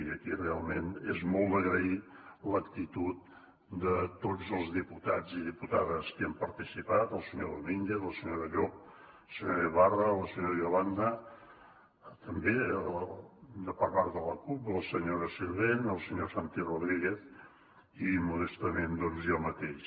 i aquí realment és molt d’agrair l’actitud de tots els diputats i diputades que hi han participat el senyor domínguez la senyora llop la senyora ibarra la senyora yolanda també per part de la cup la senyora sirvent el senyor santi rodríguez i modestament doncs jo mateix